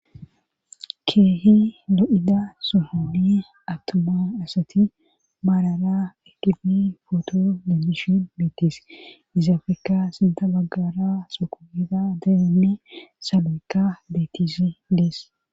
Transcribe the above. keehi lo7ida sohoni awtoma asati maalara egifi footo dedishin miitis izaafekka sinta baggara sokogira deeenne sabeka dettisi dees